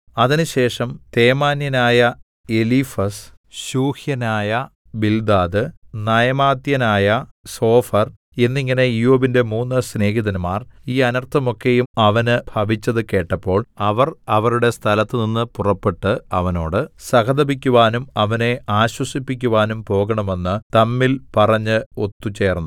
അതിനുശേഷം തേമാന്യനായ എലീഫസ് ശൂഹ്യനായ ബിൽദാദ് നയമാത്യനായ സോഫർ എന്നിങ്ങനെ ഇയ്യോബിന്റെ മൂന്ന് സ്നേഹിതന്മാർ ഈ അനർത്ഥമൊക്കെയും അവന് ഭവിച്ചത് കേട്ടപ്പോൾ അവർ അവരുടെ സ്ഥലത്തുനിന്ന് പുറപ്പെട്ട് അവനോട് സഹതപിക്കുവാനും അവനെ ആശ്വസിപ്പിക്കുവാനും പോകണമെന്ന് തമ്മിൽ പറഞ്ഞ് ഒത്തുചേർന്നു